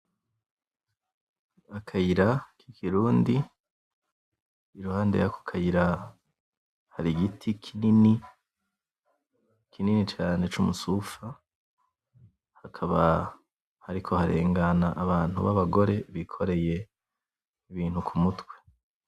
Akayira kikirundi iruhande yako kayira hari igiti kinini , kinini cane cumusufa hakaba hariko harengana abantu babagore bikoreye ibintu kumutwe .